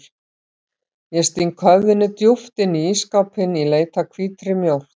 Ég sting höfðinu djúpt inn í ísskápinn í leit að hvítri mjólk.